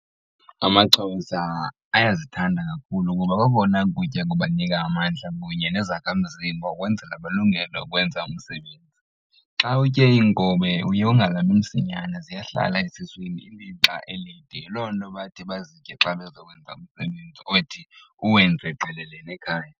Amaxhosa ayazithanda kakhulu kuba kokona kutya kubanika amadla kunye nezakhamzimba ukwenzela balungele ukwenza umsebenzi. Xa utye inkobe uye ungalambi msinyane ziyahlala esuswini ilixa elinde yiloo nto bathi bazitye xa bezokwenza umsebenzi othi uwenze qelele nekhaya.